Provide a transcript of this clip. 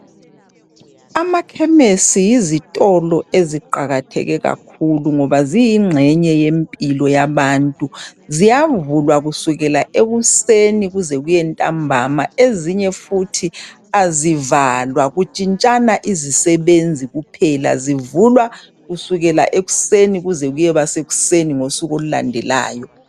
Amakhemesi yizitolo eziqakatheke kakhulu ngoba ziyingxenye yempilo yabantu ziyavulwa kusukela ekusen kuze kuye ntambama ezinye futhi azivalwa kutshitshana izisebenzi kuphela zivulwa kusukela ekusenini kuze kuyeba lsekuseni ngosuku olulandelayo